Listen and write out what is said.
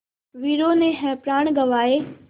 वीरों ने है प्राण गँवाए